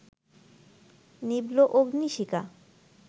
নিভল অগ্নিশিখা